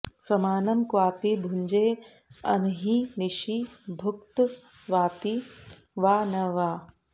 समानं क्वापि भुञ्जेऽह्नि निशि भुक्त्वापि वा न वा